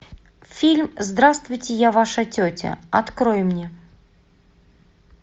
фильм здравствуйте я ваша тетя открой мне